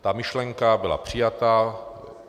Ta myšlenka byla přijata.